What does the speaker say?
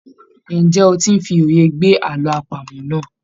Ǹjẹ́ o ti ń fi òye gbé àlọ́ àpamọ̀ náà?